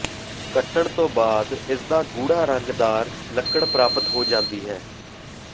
ਕੱਟਣ ਤੋਂ ਬਾਅਦ ਇਸਦਾ ਗੂੜਾ ਰੰਗਦਾਰ ਲੱਕੜ ਪ੍ਰਾਪਤ ਹੋ ਜਾਂਦੀ ਹੈ